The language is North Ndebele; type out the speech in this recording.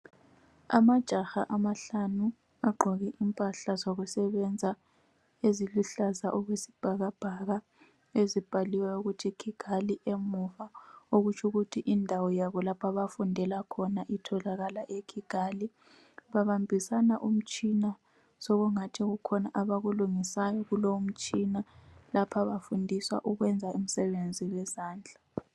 Amajaha amahlanu agqoke impahla zokusebenza eziluhlaza okwesibhakabhaka ezibhaliweyo ukuthi Kigali emuva okutsho ukuthi indawo yabo abafundela khona itholakala ekigali babimbisana umtshina sengathi kukhona abakwenzayo kumtshina lapha bafundiswa ukuyenza umsebenzi wezandla